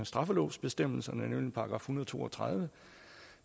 straffelovsbestemmelserne nemlig § en hundrede og to og tredive